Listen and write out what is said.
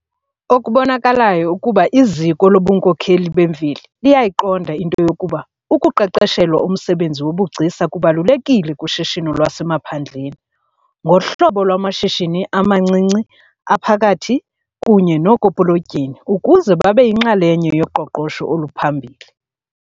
Okubonakalayo kukuba iziko lobunkokheli bemveli liyayiqonda into yokuba ukuqeqeshelwa umsebenzi wobugcisa kubalulekile kushishino lwasemaphandleni ngohlobo lwamashishini amancinci, aphakathi kunye nookopolotyeni ukuze babe yinxalenye yoqoqosho oluphambili.